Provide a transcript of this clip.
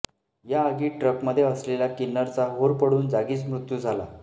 या आगीत ट्रकमध्ये असलेल्या किन्नरचा होरपळून जागीच मृत्यू झाला